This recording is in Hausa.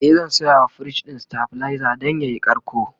e zan sayawa firij ɗin stabilizer Dan yayi karko